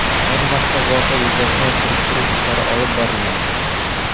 Ayni vaqtda voqea yuzasidan surishtiruv ishlari olib borilmoqda.